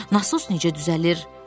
Nasos necə düzəlir?